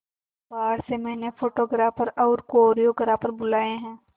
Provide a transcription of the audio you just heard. बाहर से मैंने फोटोग्राफर और कोरियोग्राफर बुलाये है